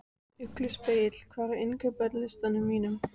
Ugluspegill, hvað er á innkaupalistanum mínum?